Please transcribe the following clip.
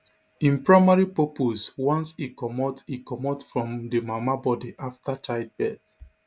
im primary purpose once e comot e comot from di mama body afta childbirth